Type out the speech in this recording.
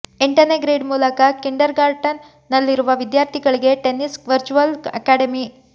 ಎಂಟನೇ ಗ್ರೇಡ್ ಮೂಲಕ ಕಿಂಡರ್ಗಾರ್ಟನ್ ನಲ್ಲಿರುವ ವಿದ್ಯಾರ್ಥಿಗಳಿಗೆ ಟೆನ್ನೆಸ್ಸೀ ವರ್ಚುವಲ್ ಅಕಾಡೆಮಿ